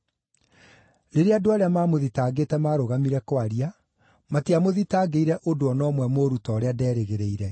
Rĩrĩa andũ arĩa maamũthitangĩte maarũgamire kwaria, matiamũthitangĩire ũndũ o na ũmwe mũũru ta ũrĩa nderĩgĩrĩire.